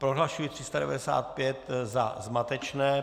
Prohlašuji 395 za zmatečné.